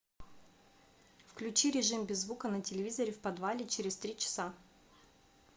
включи режим без звука на телевизоре в подвале через три часа